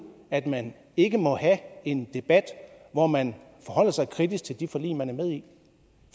at man ikke må have en debat hvor man forholder sig kritisk til det forlig man er med